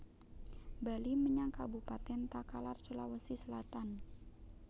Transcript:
Bali menyang Kabupaten Takalar Sulawesi Selatan